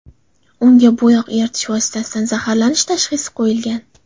Unga bo‘yoq eritish vositasidan zaharlanish tashxisi qo‘yilgan.